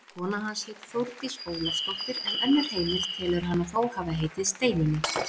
Kona hans hét Þórdís Ólafsdóttir en önnur heimild telur hana þó hafa heitið Steinunni.